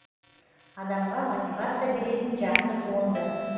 адамға мотивация беретін жақсы туынды